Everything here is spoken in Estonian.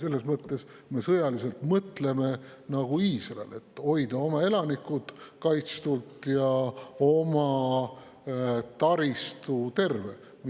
Selles mõttes me mõtleme sõjaliselt nagu Iisrael, et hoida oma elanikud kaitstud ja oma taristu terve.